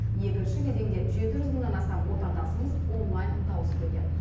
екінші кезеңде жеті жүз мыңнан астам отандасымыз онлайн дауыс берген